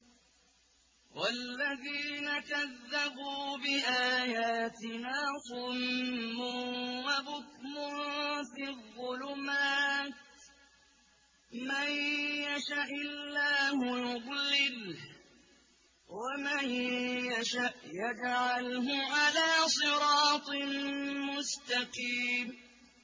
وَالَّذِينَ كَذَّبُوا بِآيَاتِنَا صُمٌّ وَبُكْمٌ فِي الظُّلُمَاتِ ۗ مَن يَشَإِ اللَّهُ يُضْلِلْهُ وَمَن يَشَأْ يَجْعَلْهُ عَلَىٰ صِرَاطٍ مُّسْتَقِيمٍ